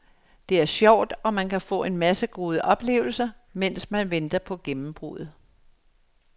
Det er sjovt og man kan få en masse gode oplevelser, mens man venter på gennembruddet.